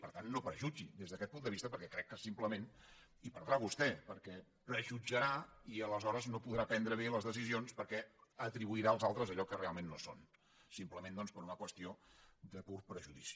per tant no prejutgi des d’aquest punt de vista perquè crec que simplement hi perdrà vostè perquè prejutjarà i aleshores no podrà prendre bé les decisions perquè atribuirà als altres allò que realment no són simplement doncs per una qüestió de pur prejudici